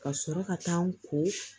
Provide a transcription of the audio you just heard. Ka sɔrɔ ka taa n ko